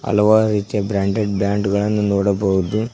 ಹಲವಾರು ರೀತಿಯ branded brand ಗಳನ್ನು ನೋಡಬಹುದು.